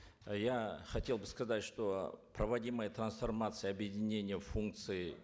э я хотел бы сказать что проводимая трансформация объединения функций